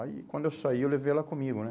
Aí, quando eu saí, eu levei ela comigo, né?